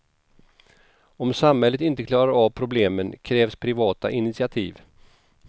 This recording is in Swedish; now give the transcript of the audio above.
Om samhället inte klarar av problemen krävs privata initiativ.